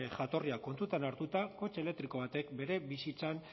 jatorriak kontuan hartuta kotxe elektriko batek bere bizitzan